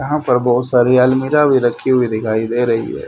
यहां पर बहोत सारी अलमीरा भी रखी हुई दिखाई दे रही है।